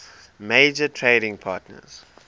major trading partners